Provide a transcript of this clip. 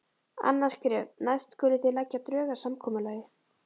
Annað skref: Næst skulið þið leggja drög að samkomulagi.